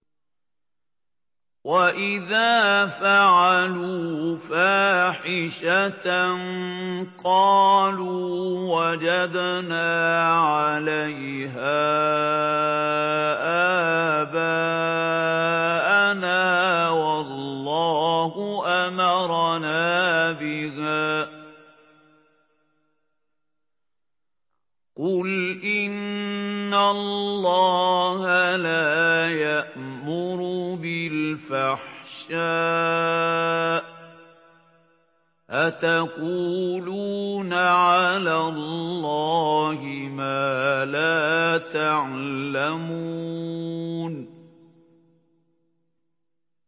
وَإِذَا فَعَلُوا فَاحِشَةً قَالُوا وَجَدْنَا عَلَيْهَا آبَاءَنَا وَاللَّهُ أَمَرَنَا بِهَا ۗ قُلْ إِنَّ اللَّهَ لَا يَأْمُرُ بِالْفَحْشَاءِ ۖ أَتَقُولُونَ عَلَى اللَّهِ مَا لَا تَعْلَمُونَ